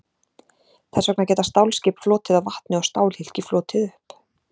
þess vegna geta stálskip flotið á vatni og stálhylki flotið upp